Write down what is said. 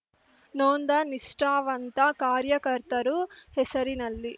ನೊಂದ ನಿಷ್ಠಾವಂತ ಕಾರ್ಯಕರ್ತರು ಹೆಸರಿನಲ್ಲಿ